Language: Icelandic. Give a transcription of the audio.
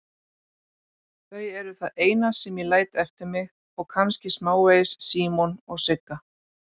Þau eru það eina sem ég læt eftir mig og kannski smávegis Símon og Sigga.